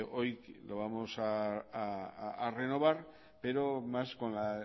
hoy lo vamos a renovar pero más con la